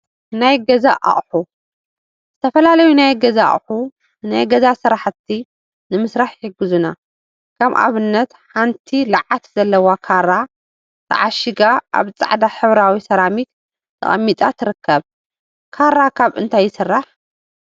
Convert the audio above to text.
ናይ ገዛ አቁሑ ዝተፈላለዩ ናይ ገዛ አቁሑ ንናይ ገዛ ስራሕቲ ንምስራሕ ይሕግዙና፡፡ ከም አብነት ሓንቲ ለዓት ዘለዋ ካራ ተዓሺጋ አብ ፃዕዳ ሕብራዊ ሰራሚክ ተቀሚጣ ትርከብ፡፡ ካራ ካብ እንታይ ይስራሕ?